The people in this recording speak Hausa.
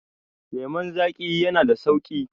lemon zaƙi yana da sauƙi